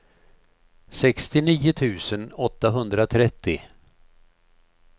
sextionio tusen åttahundratrettio